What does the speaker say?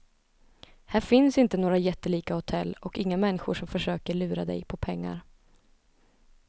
Här finns inte några jättelika hotell och inga människor som försöker lura dig på pengar.